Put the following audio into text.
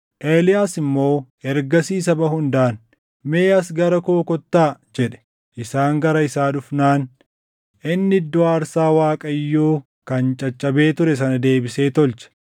Eeliyaas immoo ergasii saba hundaan, “Mee as gara koo kottaa” jedhe. Isaan gara isaa dhufnaan inni iddoo aarsaa Waaqayyoo kan caccabee ture sana deebisee tolche.